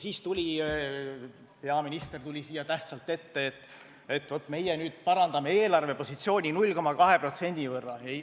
Siis tuli peaminister tähtsalt siia ette ja ütles, et vaat, meie nüüd parandame eelarvepositsiooni 0,2% võrra.